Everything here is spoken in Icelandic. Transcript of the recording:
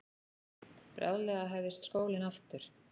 Bráðlega hæfist skólinn aftur.